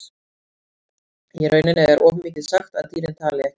Í rauninni er of mikið sagt að dýrin tali ekki.